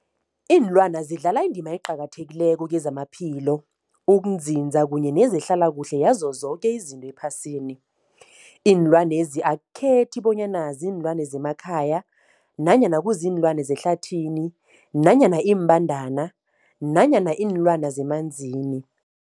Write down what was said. Ilwana zidlala indima eqakathekileko kezamaphilo, ukunzinza kanye nezehlala kuhle yazo zoke izinto ephasini. Iinlwana lezi akukhethi bonyana ziinlwana zemakhaya nanyana kuziinlwana zehlathini nanyana iimbandana nanyana iinlwana zemanzini.